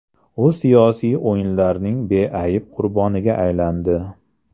U siyosiy o‘yinlarning beayb qurboniga aylandi.